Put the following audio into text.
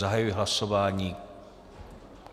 Zahajuji hlasování.